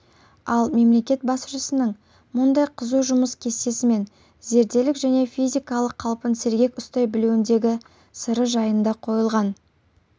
ал мемлекет басшысының мұндай қызу жұмыс кестесімен зерделік және физикалық қалпын сергек ұстай білуіндегі сыры жайында қойылған